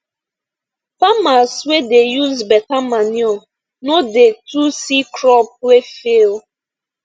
farmers wey dey use beta manure no no dey too see crop wey fail